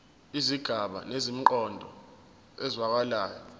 izigaba zinemiqondo ezwakalayo